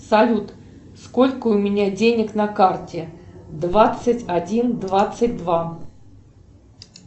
салют сколько у меня денег на карте двадцать один двадцать два